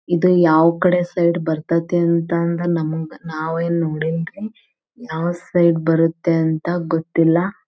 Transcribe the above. ಇದು ಯಾವಕಡೆ ಸೈಡ್ ಬರತೈತೆ ಅಂತಂದು ನಮಗ್ ನಾವ್ಏನ್ ನೋಡಿಲ್ರಿ ಯಾವ ಸೈಡ್ ಬರುತ್ತೆ ಅಂತ ಗೊತ್ತಿಲ್ಲ.